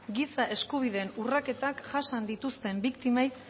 giza eskubideen urraketak jasan dituzten biktimei